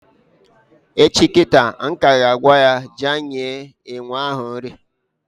Echi kịta m ka ya agwa ya gaa nye enwe ahụ nri